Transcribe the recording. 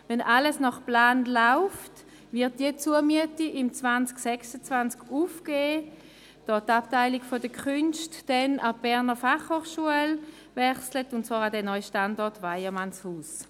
Wenn alles nach Plan läuft, wird diese Zumiete im Jahr 2026 aufgegeben, da die Abteilung der Künste dann an die BFH wechselt, und zwar an den neuen Standort Weyermannshaus.